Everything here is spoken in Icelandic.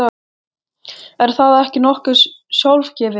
Er það ekki nokkuð sjálfgefið?